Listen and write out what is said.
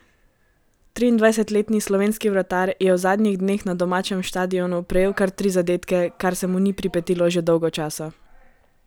Triindvajsetletni slovenski vratar je v zadnjih dneh na domačem štadionu prejel kar tri zadetke, kar se mu ni pripetilo že dolgo časa.